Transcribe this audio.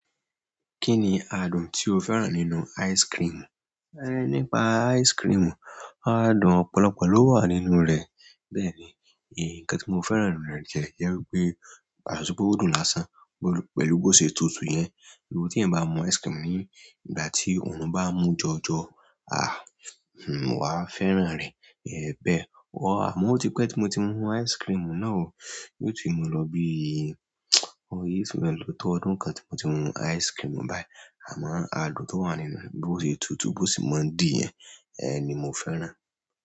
Kí ni adùn tí o fẹ́ràn nínú ice cream? Nípa ice cream, adùn ọ̀pọ̀lọpọ̀ ló wà nínú rẹ̀. Bẹ́ẹ̀ni, nǹkan tí mo fẹ́ràn nínú rẹ̀ jẹ́ wípé, yàtọ̀ sí pé ó dùn lásán, pẹ̀lú bó ṣe tutù yẹn. Ló tí ẹ̀ bá mú ice cream ní ìgbà tí òòrùn bá ń mú jọjọ, wàá fẹ́ràn rẹ̀. Bẹ́ẹ̀, àmọ́ ó ti pẹ́ tí mo ti mú ice-cream náà o. Yóò tì máa lọ bí i oyè sì lọ́pọ̀ ọdún kan tí mo ti mú ice cream báyìí. Àmọ́ adùn tó wà nínú, bó ṣe tutù bó sì mọ́ dí yẹn, ẹ ní mo fẹ́ràn.